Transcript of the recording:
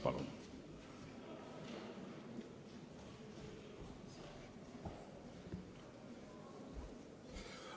Palun!